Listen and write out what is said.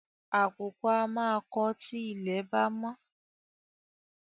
Àkùkọ á máa kọ tí ilẹ̀ bá mọ́